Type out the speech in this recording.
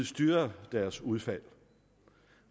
styre deres udfald